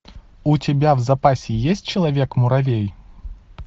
у тебя в запасе есть человек муравей